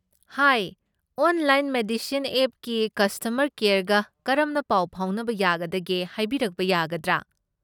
ꯍꯥꯏ, online medicine ꯑꯦꯞꯀꯤ customer ꯀꯦꯌꯔꯒ ꯀꯔꯝꯅ ꯄꯥꯎ ꯐꯥꯎꯅꯕ ꯌꯥꯒꯗꯒꯦ ꯍꯥꯏꯕꯤꯔꯛꯄ ꯌꯥꯒꯗ꯭ꯔꯥ?